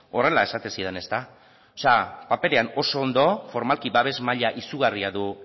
horrela esaten zidan paperean oso ondo formalki babes maila izugarria du